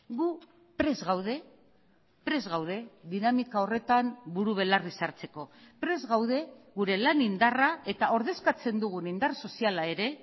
gu prest gaude prest gaude dinamika horretan buru belarri sartzeko prest gaude gure lan indarra eta ordezkatzen dugun indar soziala ere